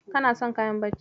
Kana son kayan bacci?